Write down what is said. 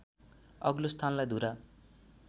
अग्लो स्थानलाई धुरा